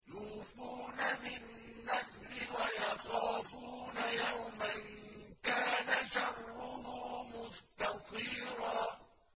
يُوفُونَ بِالنَّذْرِ وَيَخَافُونَ يَوْمًا كَانَ شَرُّهُ مُسْتَطِيرًا